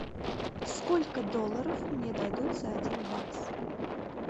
сколько долларов мне дадут за один бакс